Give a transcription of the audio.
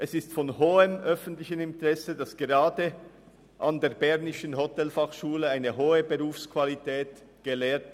Es ist von grossem öffentlichem Interesse, dass gerade die bernische Hotelfachschule eine hohe Ausbildungsqualität aufweist.